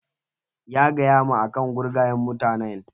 Ya gaya ma akan gurgayen mutanen?